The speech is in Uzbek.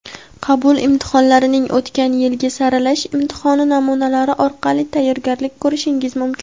Qabul imtihonlarining o‘tgan yilgi saralash imtihoni namunalari orqali tayyorgarlik ko‘rishingiz mumkin.